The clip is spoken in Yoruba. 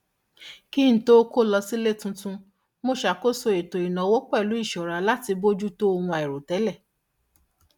kí n tó kó lọ sí ilé tuntun mo ṣakoso ètò ìnáwó pẹlú ìṣọra láti bójú tó ohun àìròtẹlẹ